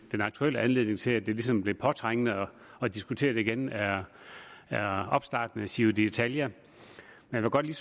den aktuelle anledning til at det ligesom blev påtrængende at diskutere det igen er opstarten af giro ditalia og jeg vil godt lige